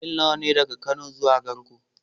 Mil nawa ne daga Kano zuwa Garko?